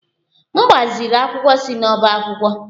M gbaziri akwụkwọ si n'ọbá akwụkwọ.